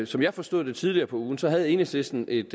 som jeg forstod det tidligere på ugen havde enhedslisten et